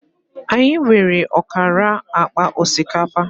Anyị nwere ọkara akpa osikapa